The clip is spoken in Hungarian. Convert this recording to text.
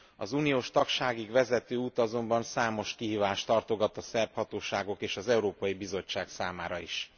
Az uniós tagságig vezető út azonban számos kihívást tartogat a szerb hatóságok és az Európai Bizottság számára is.